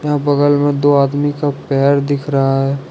यहां बगल में दो आदमी का पैर दिख रहा है।